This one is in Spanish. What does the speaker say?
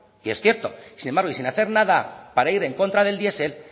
y es cierto y sin embargo y sin hacer nada para ir en contra del diesel